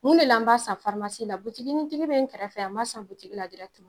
Mun de la an b'a san farimasi la butigiinintigi be n kɛrɛfɛ yan n b'a san butigi la dirɛkiteman